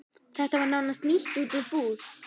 Þetta var nánast nýtt út úr búð.